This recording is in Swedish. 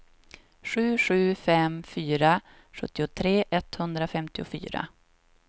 sju sju fem fyra sjuttiotre etthundrafemtiofyra